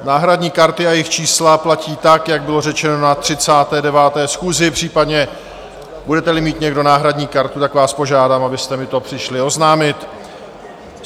Náhradní karty a jejich čísla platí tak, jak bylo řečeno na 39. schůzi, případně budete-li mít někdo náhradní kartu, tak vás požádám, abyste mi to přišli oznámit.